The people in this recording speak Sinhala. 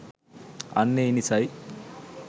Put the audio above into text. අන්න ඒ නිසයි